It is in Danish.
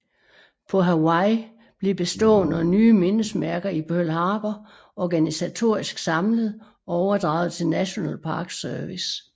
På Hawaii blev bestående og nye mindesmærker i Pearl Harbor organisatorisk samlet og overdraget til National Park Service